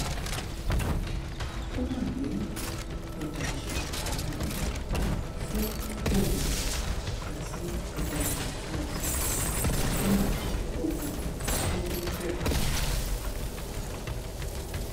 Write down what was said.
ó wà ní ìdajì karùnún fún ọgùn àti ìdajì karùnún fún ọgùn kó tó bẹrẹ